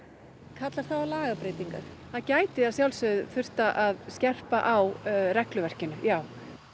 kallar það á lagabreytingar það gæti þurft að skerpa á regluverkinu já